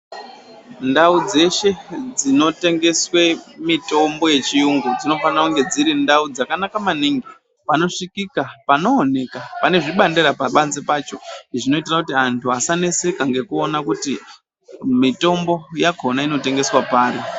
Ndau dzeshe dzinotengeswe mitombo yechiyungu dzinofana kunge dziri ndau dzakanaka maningi ,panosvikika, pano oneka, pane zvibandera pabanze pacho zvinoitira kuti antu asaneseka ngekuona kuti mitombo yakona inotengeswa pari.